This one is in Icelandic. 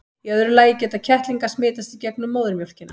í öðru lagi geta kettlingar smitast í gegnum móðurmjólkina